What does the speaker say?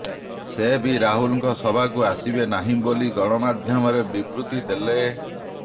ସେ ବି ରାହୁଲଙ୍କ ସଭାକୁ ଆସିବେ ନାହିଁ ବୋଲି ଗଣମାଧ୍ୟମରେ ବିବୃତି ଦେଲେ